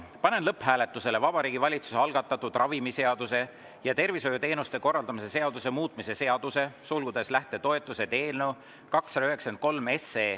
Panen lõpphääletusele Vabariigi Valitsuse algatatud ravimiseaduse ja tervishoiuteenuste korraldamise seaduse muutmise seaduse eelnõu 293.